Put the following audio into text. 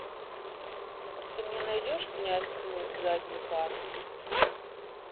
ты мне найдешь князь тьмы с задней парты